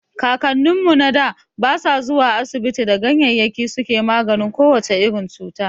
Kakannin mu na da ba su zuwa asibiti da ganyayyaki suke maganin ko wace irin cuta.